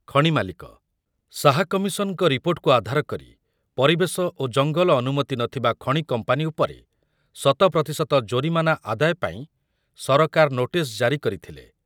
ଖଣି ମାଲିକ, ଶାହା କମିଶନଙ୍କ ରିପୋର୍ଟକୁ ଆଧାର କରି ପରିବେଶ ଓ ଜଙ୍ଗଲ ଅନୁମତି ନଥିବା ଖଣି କମ୍ପାନୀ ଉପରେ ଶତ ପ୍ରତିଶତ ଜରିମାନା ଆଦାୟ ପାଇଁ ସରକାର ନୋଟିସ ଜାରି କରିଥିଲେ।